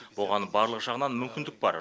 оған барлық жағынан мүмкіндік бар